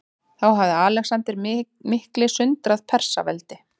Þá hafði Alexander mikli sundrað Persaveldi.